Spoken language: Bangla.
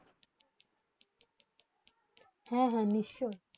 হেঁ হেঁ নিশ্চয়ই